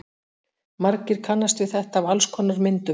Margir kannast við þetta af alls konar myndum.